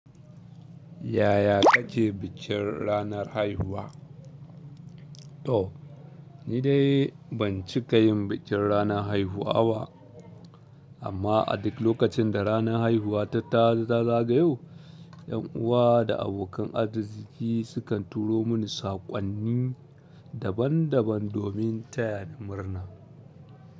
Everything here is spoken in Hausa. Yaya kace bikin ranar haihuwa? To ni dai ban cika yin bikin ranar haihuwa ba. Amma a duk lokacin da ranar haihuwa ta ta zagayo, 'ƴan uwa da abokan arziki sukan turo mini saƙonni daban-daban domin taya da murna.